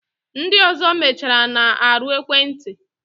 Ndi ọzọ mechara na-arụ ekwenti